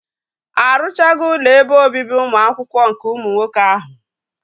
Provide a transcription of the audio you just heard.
Arụchago ụlọ ebe obibi ụmụ akwụkwọ nke ụmụ nwoke ahụ?